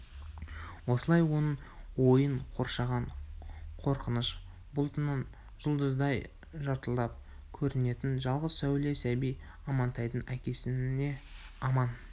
осылай оның ойын қоршаған қорқыныш бұлтынан жұлдыздай жылтырап көрінетін жалғыз сәуле сәби амантайдың әкесіне аман